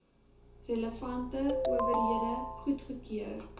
relevante owerhede goedgekeur